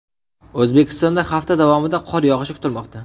O‘zbekistonda hafta davomida qor yog‘ishi kutilmoqda.